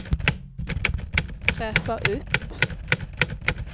fräscha upp